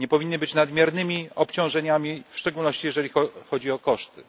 Nie powinny być nadmiernymi obciążeniami, w szczególności jeżeli chodzi o koszty.